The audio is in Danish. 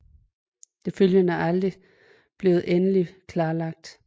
Det følgende er aldrig blevet endeligt klarlagt